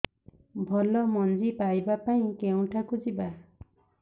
ଭଲ ମଞ୍ଜି ପାଇବା ପାଇଁ କେଉଁଠାକୁ ଯିବା